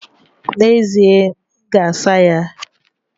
N'ezie, m ga-asa ya.